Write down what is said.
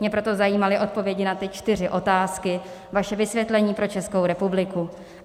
Mě proto zajímaly odpovědi na ty čtyři otázky, vaše vysvětlení pro Českou republiku.